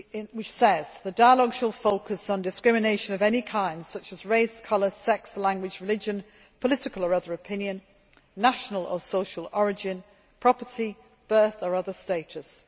This says that the dialogue shall focus on discrimination of any kind such as race, colour, sex, language, religion, political or other opinion, national or social origin, property, birth or other status.